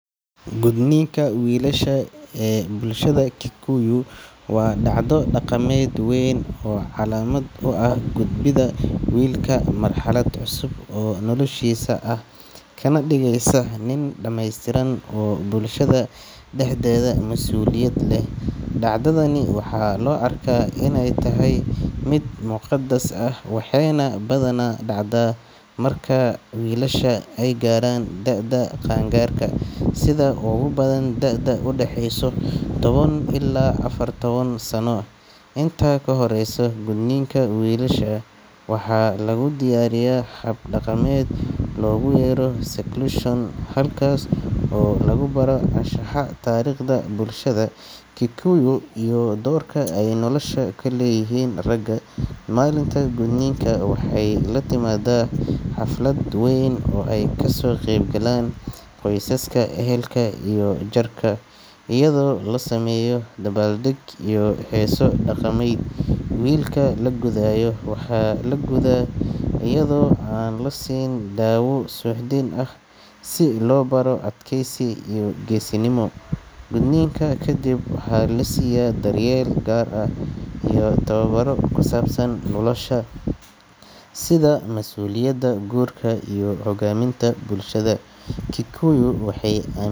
Gudniinka wiilasha ee bulshada Kikuyu waa dhacdo dhaqameed weyn oo calaamad u ah u gudbidda wiilka marxalad cusub oo noloshiisa ah, kana dhigaysa nin dhameystiran oo bulshada dhexdeeda masuuliyad leh. Dhacdadani waxaa loo arkaa inay tahay mid muqadas ah, waxayna badanaa dhacdaa marka wiilasha ay gaaraan da’da qaan-gaarka, sida ugu badan da’da u dhaxaysa toban ilaa afar iyo toban sano. Inta ka horreysa gudniinka, wiilasha waxaa lagu diyaariyaa hab dhaqameed loogu yeero seclusion, halkaas oo lagu baro anshaxa, taariikhda bulshada Kikuyu, iyo doorka ay nolosha ku leeyihiin ragga. Maalinta gudniinka waxay la timaadaa xaflad weyn oo ay kasoo qayb galaan qoysaska, ehelka iyo jaarka, iyadoo loo sameeyo dabaaldeg iyo heeso dhaqameed. Wiilka la gudayo waxaa la gudaa iyadoo aan la siin dawo suuxdin ah, si loo baro adkaysi iyo geesinimo. Gudniinka kadib, waxaa la siiyaa daryeel gaar ah iyo tababarro ku saabsan nolosha, sida mas’uuliyadda, guurka, iyo hoggaaminta. Bulshada Kikuyu waxay aam.